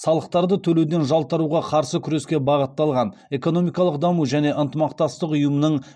салықтарды төлеуден жалтаруға қарсы күреске бағытталған экономикалық даму және ынтымақтастық ұйымының